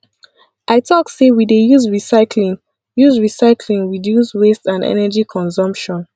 i tok sey we dey use recyclying use recyclying reduce waste and energy consumption